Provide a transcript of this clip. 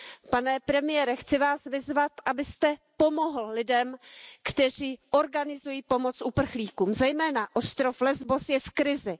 Pane premiére, chci Vás vyzvat, abyste pomohl lidem, kteří organizují pomoc uprchlíkům, zejména ostrov Lesbos je v krizi.